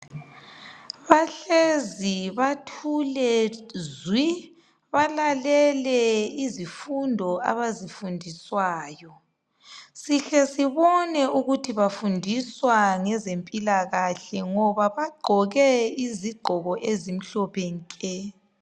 Bahlezi, bathule zwi. Balalele izifundo abazifundiswayo. Sihle sibone ukuthi bafundiswa ngezempilakahle ngoba bagqoke izigqoko ezimhlophe nke.